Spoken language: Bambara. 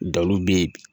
Daluw bɛ ye